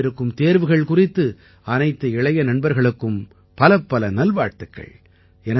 வரவிருக்கும் தேர்வுகள் குறித்து அனைத்து இளைய நண்பர்களுக்கும் பலப்பல நல்வாழ்த்துகள்